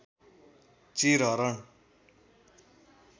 चीर हरण